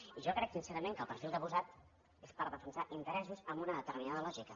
i jo crec sincerament que el perfil que ha posat és per defensar interessos amb una determinada lògica